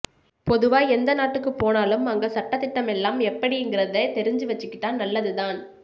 பொதுவா எந்த நாட்டுக்கு போனாலும் அங்க சட்டதிட்டமெல்லாம் எப்படிங்கறத தெரிஞ்சுவெச்சுக்கிட்டா நல்லதுதான்